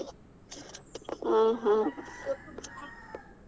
ಆಹ್ ಆಹ್ .